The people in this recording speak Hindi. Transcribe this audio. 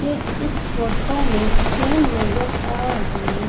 ये इस फोटो मे चैन नज़र आ रही--